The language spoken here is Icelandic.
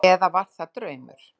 Eða var það draumur?